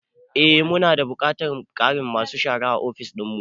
Eh. mu na da buƙatar ƙarin masu shara a ofis dinmu.